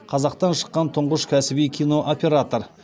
қазақтан шыққан тұңғыш кәсіби кинооператор